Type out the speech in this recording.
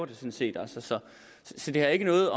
det sådan set så det har ikke noget